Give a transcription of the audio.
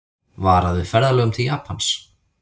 Varað við ferðalögum til Japans